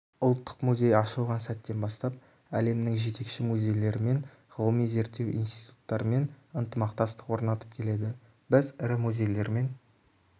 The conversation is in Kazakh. ұлттық музей ашылған сәттен бастап әлемнің жетекші музейлерімен ғылыми-зерттеу институттарымен ынтымақтастық орнатып келеді біз ірі музейлермен